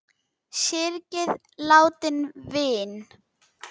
Syrgið látinn vin!